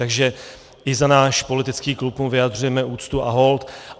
Takže i za náš politický klub mu vyjadřujeme úctu a hold.